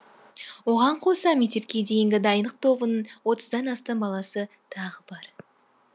оған қоса мектепке дейінгі дайындық тобының отыздан астам баласы тағы бар